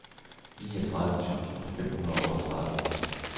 niogtredive tusind fem hundrede og otteogtredive